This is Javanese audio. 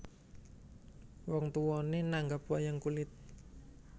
Wong tuwané nanggap wayang kulit